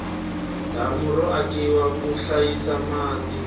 damu ro akiwa ku hlayisa mati